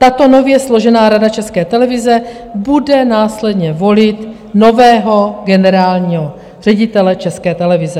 Tato nově složená Rada České televize bude následně volit nového generálního ředitele České televize.